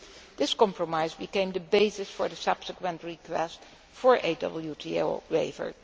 This compromise became the basis for the subsequent request for a WTO waiver.